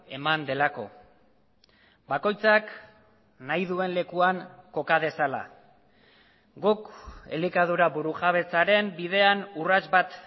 eman delako bakoitzak nahi duen lekuan koka dezala guk elikadura burujabetzaren bidean urrats bat